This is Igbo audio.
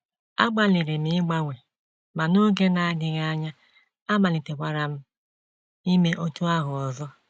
Agbalịrị m ịgbanwe, ma n’oge na - adịghị anya, amalitekwara m ime otú ahụ ọzọ. ”